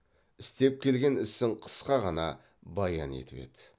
істеп келген ісін қысқа ғана баян етіп еді